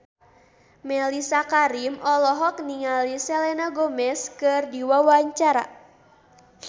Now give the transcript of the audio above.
Mellisa Karim olohok ningali Selena Gomez keur diwawancara